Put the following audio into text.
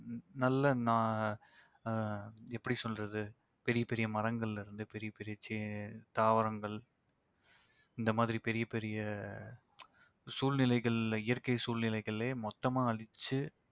நல்ல னா~ ஆஹ் எப்படி சொல்றது பெரிய பெரிய மரங்கள்லயிருந்து பெரிய பெரிய செ~ தாவரங்கள் இந்த மாதிரி பெரிய பெரிய சூழ்நிலைகள் இயற்கை சூழ்நிலைகலையே மொத்தமா அழிச்சு